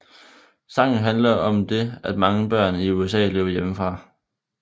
Sangen handler om det at mange børn i USA løber hjemmefra